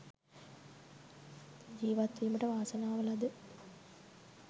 ජීවත්වීමට වාසනාව ලද